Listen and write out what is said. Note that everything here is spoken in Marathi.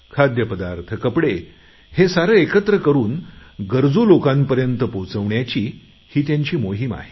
खाद्य पदार्थ कपडे हे सारे एकत्र करून गरजू लोकांपर्यंत पोहचवण्याची ही त्याची मोहीम आहे